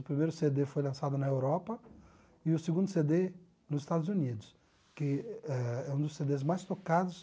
O primeiro cê dê foi lançado na Europa e o segundo cê dê nos Estados Unidos, que é é um dos cê dês mais tocados